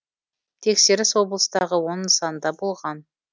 тексеріс облыстағы он нысанда болған